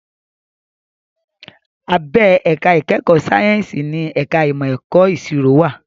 Abẹ́ ẹ̀ka ìkẹ́kọ̀ọ́ sáyẹ́ǹsì ni ẹ̀ka ìmọ̀ ẹ̀kọ́ ìṣirò wà